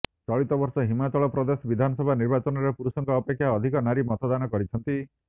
ଚଳିତବର୍ଷ ହିମାଚଳପ୍ରଦେଶ ବିଧାନସଭା ନିର୍ବାଚନରେ ପୁରୁଷଙ୍କ ଅପେକ୍ଷା ଅଧିକ ନାରୀ ମତଦାନ କରିଛନ୍ତି